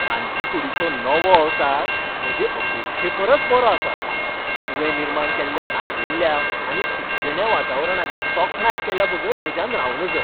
रांदचीकूडीचो नवो अवतार म्हजे अपेक्षे परस बरोआसा, तुवें निर्माण केल्ल्या आर्विल्ल्या आनी सुखदिण्या वातावरणाची तोखणाय केल्याबगर म्हज्यान रावं नज.